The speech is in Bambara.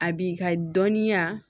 A b'i ka dɔnniya